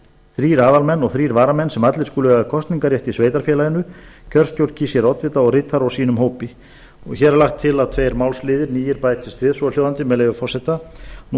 þrír aðalmenn og þrír varamenn sem allir skuli eiga kosningarrétt í sveitarfélaginu kjörstjórn kýs sér oddvita og ritara úr sínum hópi hér er lagt til að tveir málsliðir nýir bætist við svohljóðandi með leyfi forseta nú